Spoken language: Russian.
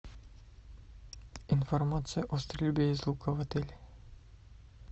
информация о стрельбе из лука в отеле